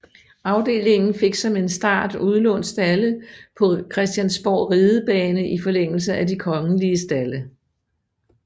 Afdelingen fik som en start udlånt stalde på Christiansborg Ridebane i forlængelse af de Kongelige Stalde